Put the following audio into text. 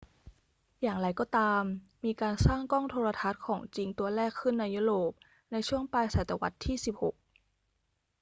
อย่างไรก็ตาม มีการสร้างกล้องโทรทรรศน์ของจริงตัวแรกขึ้นในยุโรปในช่วงปลายศตวรรษที่ 16